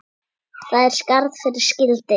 Þar er skarð fyrir skildi.